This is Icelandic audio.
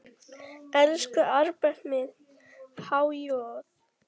Elsku Albert minn, há joð.